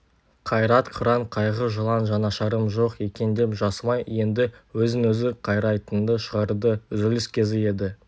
қайрат қыран қайғы жылан жанашырым жоқ екен деп жасымай енді өзін-өзі қайрайтынды шығарды үзіліс кезі еді